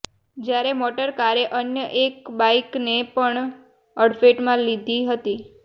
જ્યારે મોટર કારે અન્ય એક બાઈકને પણ અડફેટમાં લીધી હતી